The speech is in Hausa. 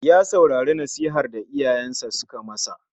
Ya saurari nasihan da iyayensa suka ma sa.